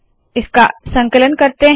इसका संकलन करते है